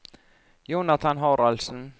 Jonathan Haraldsen